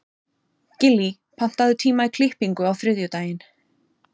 Gillý, pantaðu tíma í klippingu á þriðjudaginn.